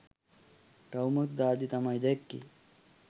රවුමක් දාද්දි තමයි දැක්කෙ